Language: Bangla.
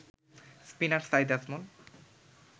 স্পিনার সাঈদ আজমল